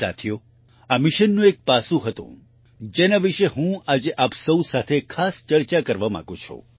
સાથીઓ આ મિશનનું એક પાસું હતું જેના વિશે હું આજે આપ સૌ સાથે ખાસ ચર્ચા કરવા માંગુ છું